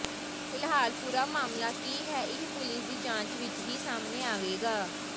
ਫਿਲਹਾਲ ਪੂਰਾ ਮਾਮਲਾ ਕੀ ਹੈ ਇਹ ਪੁਲਿਸ ਦੀ ਜਾਂਚ ਵਿੱਚ ਹੀ ਸਾਹਮਣੇ ਆਵੇਗਾ